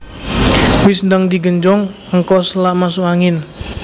Wis ndang di genjong engko selak masuk angin